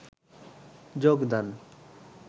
যোগদান